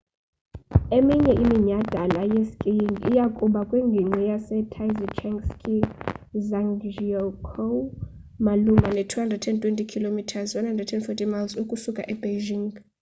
eminye iminyhadala yeskiing iya kuba kwingingqi yase taizicheng ski ezhangjiakou malunga ne 220 km 140 miles ukusuka e beijing